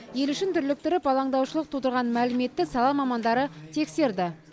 ел ішін дүрліктіріп алаңдаушылық тудырған мәліметті сала мамандары тексерді